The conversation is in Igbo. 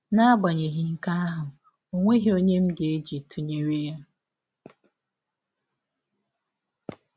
N’agbanyeghị nke ahụ, ọ nweghị ọnye m ga - eji tụnyere ya.